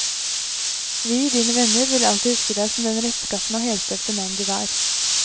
Vi, dine venner, vil alltid huske deg som den rettskafne og helstøpte mann du var.